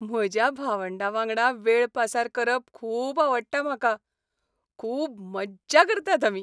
म्हज्या भावंडां वांगडा वेळ पासार करप खूब आवडटा म्हाका. खूब मज्जा करतात आमी.